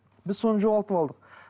біз соны жоғалтып алдық